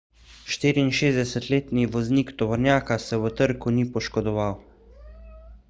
64-letni voznik tovornjaka se v trku ni poškodoval